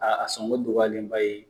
A a sɔngɔ dugɔyalenba ye